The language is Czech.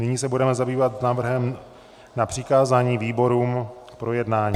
Nyní se budeme zabývat návrhem na přikázání výborům k projednání.